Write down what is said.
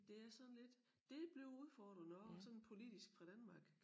Det er sådan lidt det bliver udfordrende også og sådan politisk fra Danmark